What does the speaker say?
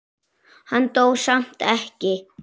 Hann dó samt ekki.